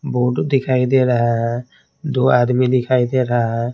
Board दिखाई दे रहा है दो आदमी दिखाई दे रहा है।